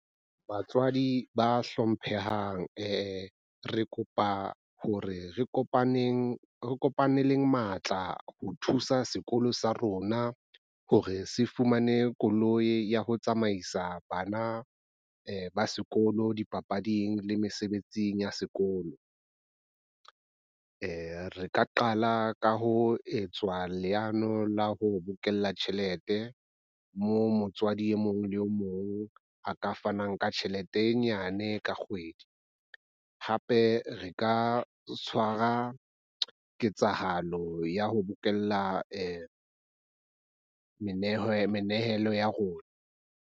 Batswadi ba hlomphehang re kopa hore re kopaneleng matla ho thusa sekolo sa rona hore se fumane koloi ya ho tsamaisa bana ba sekolo di papading le mesebetsing ya sekolo. re ka qala ka ho etswa leano la ho bokella tjhelete moo motswadi e mong le e mong a ka fanang ka tjhelete e nyane ka kgwedi. Hape re ka tshwara ketsahalo ya ho bokella menehelo ya rona.